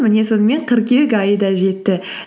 міне сонымен қыркүйек айы да жетті